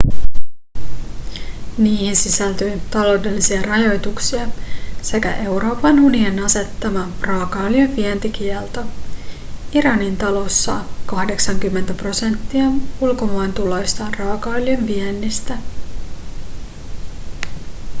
niihin sisältyy taloudellisia rajoituksia sekä euroopan unionin asettama raakaöljyn vientikielto iranin talous saa 80 prosenttia ulkomaantuloistaan raakaöljyn viennistä